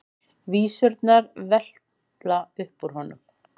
Vísurnar vella upp úr honum.